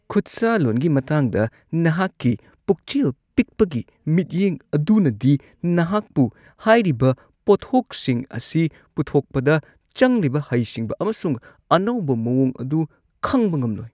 ꯈꯨꯠꯁꯥꯂꯣꯟꯒꯤ ꯃꯇꯥꯡꯗ ꯅꯍꯥꯛꯀꯤ ꯄꯨꯛꯆꯦꯜ ꯄꯤꯛꯄꯒꯤ ꯃꯤꯠꯌꯦꯡ ꯑꯗꯨꯅꯗꯤ ꯅꯍꯥꯛꯄꯨ ꯍꯥꯏꯔꯤꯕ ꯄꯣꯠꯊꯣꯛꯁꯤꯡ ꯑꯁꯤ ꯄꯨꯊꯣꯛꯄꯗ ꯆꯪꯂꯤꯕ ꯍꯩꯁꯤꯡꯕ ꯑꯃꯁꯨꯡ ꯑꯅꯧꯕ ꯃꯋꯣꯡ ꯑꯗꯨ ꯈꯪꯕ ꯉꯝꯂꯣꯏ ꯫